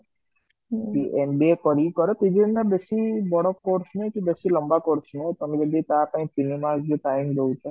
MBA କରିକି କର ନା ବେଶୀ ବଡ course ନୁହେ କି ବେଶୀ ଲମ୍ବ course ନୁହେ ତମେ ଜଦି ତ ପାଇଁ ତିନି ମାସ ଭି ଜଦି time ଦୌଛ